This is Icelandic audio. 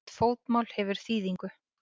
Hvert fótmál hefur þýðingu.